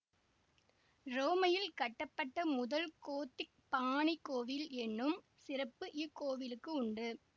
உரோமையில் கட்டப்பட்ட முதல் கோத்திக் பாணிக் கோவில் என்னும் சிறப்பு இக்கோவிலுக்கு உண்டு